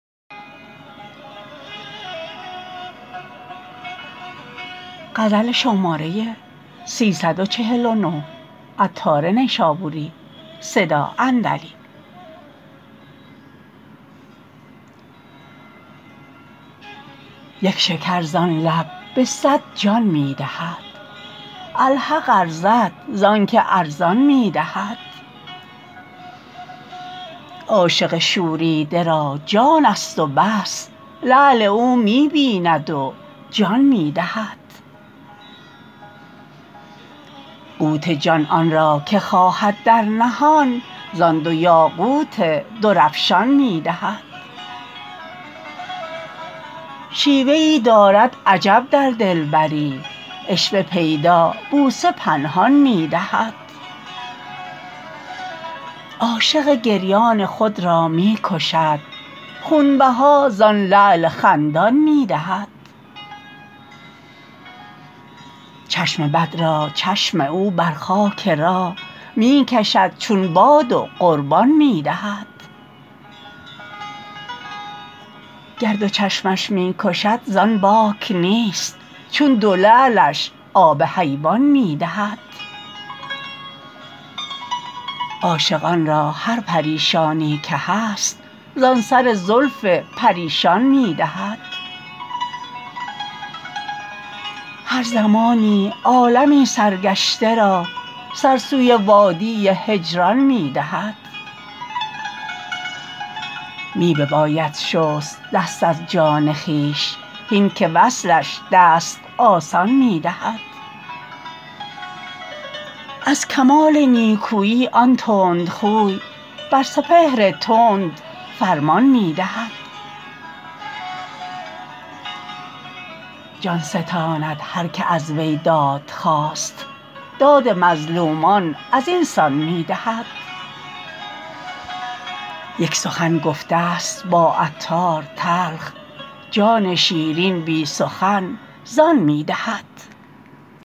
یک شکر زان لب به صد جان می دهد الحق ارزد زانکه ارزان می دهد عاشق شوریده را جان است و بس لعل او می بیند و جان می دهد قوت جان آن را که خواهد در نهان زان دو یاقوت درافشان می دهد شیوه ای دارد عجب در دلبری عشوه پیدا بوسه پنهان می دهد عاشق گریان خود را می کشد خونبها زان لعل خندان می دهد چشم بد را چشم او بر خاک راه می کشد چون باد و قربان می دهد گر دو چشمش می کشد زان باک نیست چون دو لعلش آب حیوان می دهد عاشقان را هر پریشانی که هست زان سر زلف پریشان می دهد هر زمانی عالمی سرگشته را سر سوی وادی هجران می دهد می بباید شست دست از جان خویش هین که وصلش دست آسان می دهد از کمال نیکویی آن تندخوی بر سپهر تند فرمان می دهد جان ستاند هر که از وی داد خواست داد مظلومان ازین سان می دهد یک سخن گفته است با عطار تلخ جان شیرین بی سخن زان می دهد